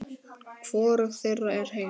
Hvorug þeirra er heil.